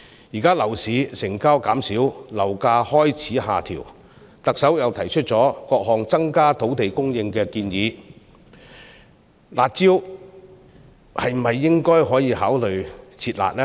現時樓市成交減少，樓價開始下調，特首又提出了各項增加土地供應的建議，是否應考慮"撤辣"呢？